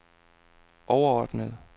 overordnede